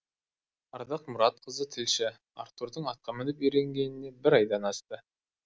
ардақ мұратқызы тілші артурдың атқа мініп үйренгеніне бір айдан асты